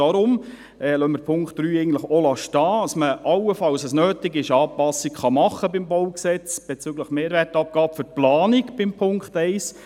Deshalb lassen wir den Punkt 3 stehen, damit man allenfalls, wenn es notwendig wäre, Anpassungen am BauG bezüglich der Mehrwertabgabe für die Planung bei Punkt 1 machen könnte.